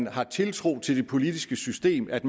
har tiltro til det politiske system at